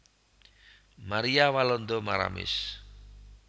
Maria Walanda Maramis